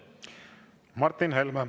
Martin Helme.